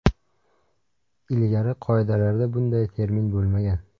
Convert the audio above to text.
Ilgari qoidalarda bunday termin bo‘lmagan.